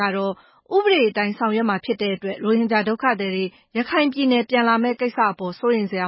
ကတော့ ဥပဒေအတိုင်းဆောင်ရွက်မှာ ဖြစ်တဲ့အတွက် ဒုက္ခသည်တွေ ပြန်လာမယ့်ကိစ္စအပေါ် စိုးရိမ်စရ